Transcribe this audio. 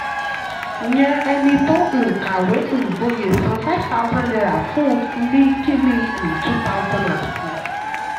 yàn ẹni tó um kàwé um gboyè san five thousand naira fún ún ní kínní um two thousand and six.